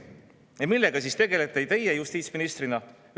Ja millega tegelete teie justiitsministrina?